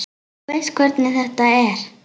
Þú veist hvernig þetta er.